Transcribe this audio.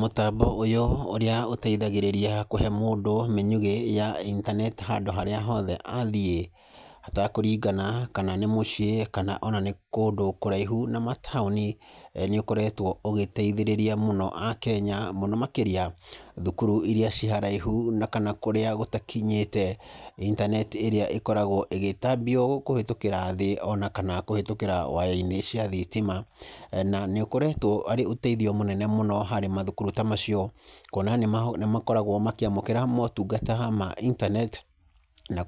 Mũtambo ũyũ ũrĩa ũteithagĩrĩria kũhe mũndũ mĩnyugĩ ya intaneti handũ harĩa hothe athiĩ, hatakũringana kana nĩ mũciĩ kana ona nĩ kũndũ kũraihu na mataũni, nĩũkoretwo ũgĩteithĩrĩria mũno akenya mũno makĩria thukuru iria irĩ kũraihu, na kũrĩa gũtakinyĩte intaneti ĩrĩa ĩkoragwo ĩgĩtambio kũhĩtũkĩra thĩ ona kana kũhĩtũkĩra waya-inĩ cia thitima. Na nĩ ũkoretwo arĩ ũteithio mũnene mũno harĩ mathukuru ta macio, kuona nĩmakoragwo makĩamũkĩra motungata ta ma intaneti na